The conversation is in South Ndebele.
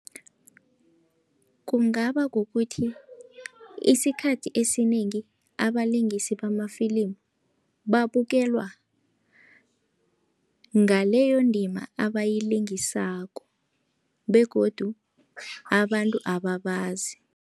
Kungaba kukuthi isikhathi esinengi abalingisi bamafilimu, babukelwa ngaleyo ndima abayilingisako begodu abantu abababazi.